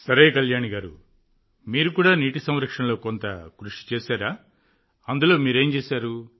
సరే కళ్యాణి గారూ మీరు కూడా నీటి సంరక్షణలో కొంత కృషి చేశారా అందులో మీరేం చేశారు